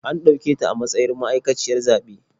An ɗauketa a matsayin ma'aikaciyar zaɓe.